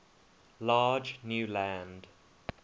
large new land